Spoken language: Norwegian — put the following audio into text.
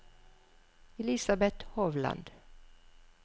Elisabeth Hovland